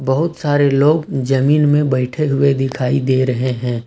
बहुत सारे लोग जमीन में बैठे हुए दिखाई दे रहे हैं।